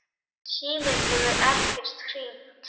Síminn hefur ekkert hringt.